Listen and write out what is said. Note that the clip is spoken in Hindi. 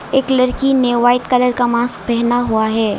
एक लड़की ने व्हाइट कलर का मास्क पहने हुआ है।